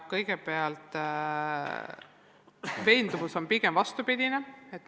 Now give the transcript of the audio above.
Kõigepealt, meie oleme pigem vastupidises veendunud.